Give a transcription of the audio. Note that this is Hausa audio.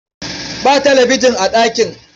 Ba talabijin a ɗakin.